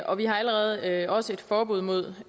og vi har allerede også et forbud mod